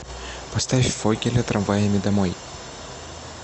поставь фогеля трамваями домой